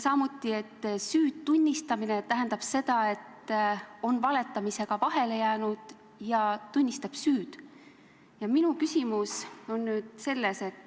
Samuti tähendab "süü tunnistamine" seda, et on valetamisega vahele jäädud ja tunnistatakse süüd.